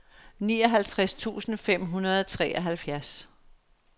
nioghalvtreds tusind fem hundrede og treoghalvfjerds